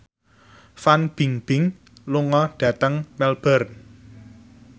Fan Bingbing lunga dhateng Melbourne